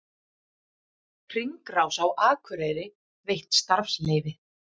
Hringrás á Akureyri veitt starfsleyfi